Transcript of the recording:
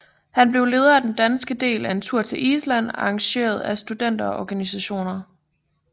Han blev leder af den danske del af en tur til Island arrangeret af studenterorganisationer